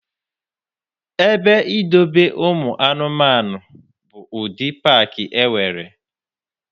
Ebe idobe ụmụanụmanụ bụ ụdị paakị e nwere.